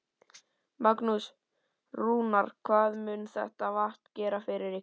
Magnús: Rúnar, hvað mun þetta vatn gera fyrir ykkur?